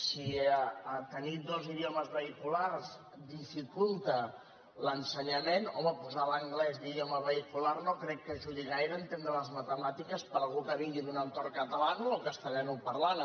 si tenir dos idiomes vehiculars dificulta l’ensenyament home posar l’anglès d’idioma vehicular no crec que ajudi gaire a entendre les matemàtiques per algú que vingui d’un entorn catalanoparlant o castellanoparlant